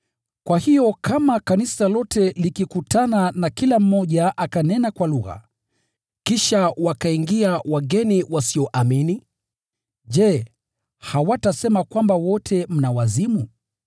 Kwa hiyo kama kanisa lote likikutana na kila mmoja akanena kwa lugha, kisha wakaingia wageni wasioelewa wasioamini, je, hawatasema kwamba wote mna wazimu?